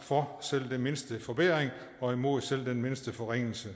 for selv den mindste forbedring og imod selv den mindste forringelse